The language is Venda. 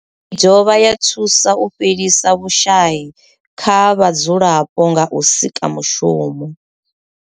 I dovha ya thusa u fhelisa vhushayi kha vhadzulapo nga u sika mushumo.